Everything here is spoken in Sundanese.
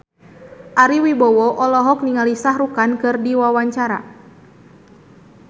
Ari Wibowo olohok ningali Shah Rukh Khan keur diwawancara